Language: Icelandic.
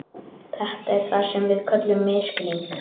Þetta er það sem við köllum misskilning.